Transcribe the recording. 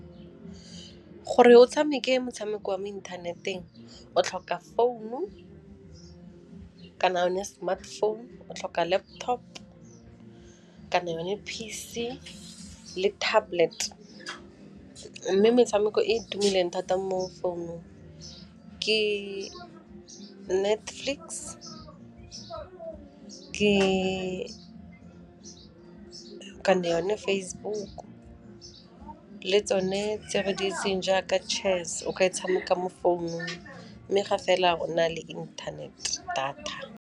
Gore o tshameke motshameko wa mo inthaneteng o tlhoka founu kana yone smartphone, o tlhoka laptop kana yone P_C le tablet mme metshameko e e tumileng thata mo founung ke Netflix, kana yone Facebook le tsone tse re di itseng jaaka chess o kry-a o e tshameka mo founung mme ga fela o na le internet data.